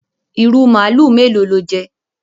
Ìrù màlúù mélòó lo jẹ?